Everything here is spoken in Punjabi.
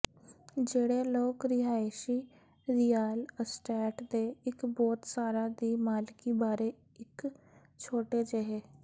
ਜਿਹੜੇ ਲੋਕ ਰਿਹਾਇਸ਼ੀ ਰੀਅਲ ਅਸਟੇਟ ਦੇ ਇੱਕ ਬਹੁਤ ਸਾਰਾ ਦੀ ਮਾਲਕੀ ਬਾਰੇ ਇੱਕ ਛੋਟੇ ਜਿਹੇ